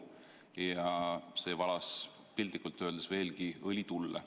Ja see otsus valas veelgi õli tulle.